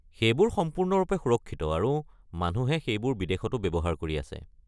সেইবোৰ সম্পূৰ্ণৰূপে সুৰক্ষিত আৰু মানুহে সেইবোৰ বিদেশতো ব্যৱহাৰ কৰি আছে।